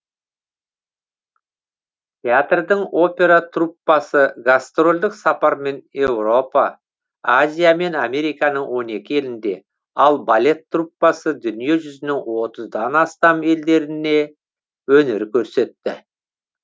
театрдың опера труппасы гастрольдік сапармен еуропа азия мен американың он екі елінде ал балет труппасы дүние жүзінің отыздан астам елдерінде өнер көрсетті